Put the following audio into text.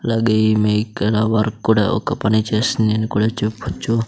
అలాగే ఈమె ఇక్కడ వర్క్ కూడా ఒక పని చేస్తుందని కూడ చెప్పచ్చు.